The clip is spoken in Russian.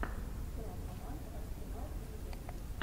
игра команд арсенал и ливерпуль